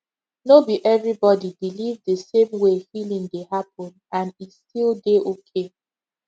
no be everybody believe the same way healing dey happen and e still dey okay